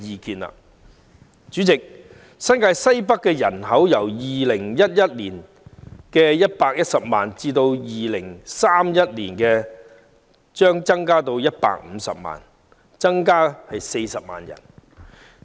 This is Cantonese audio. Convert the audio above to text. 代理主席，新界西北的人口將由2011年的110萬人上升至2031年的150萬人，增加40萬人。